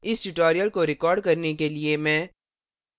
इस tutorial को record करने के लिए मैं